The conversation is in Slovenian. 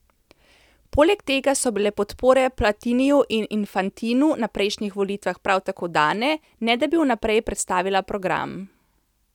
Poleg tega so bile podpore Platiniju in Infantinu na prejšnjih volitvah prav tako dane, ne da bi vnaprej predstavila program.